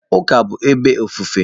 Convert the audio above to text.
Ụka bụ ebe ofufe.